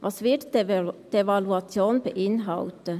Was wird die Evaluation beinhalten?